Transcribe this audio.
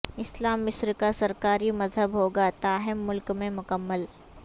اسلام مصر کا سرکاری مذہب ہوگا تاہم ملک میں مکمل